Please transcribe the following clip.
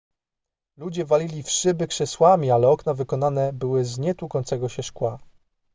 ludzie walili w szyby krzesłami ale okna wykonane były z nietłukącego się szkła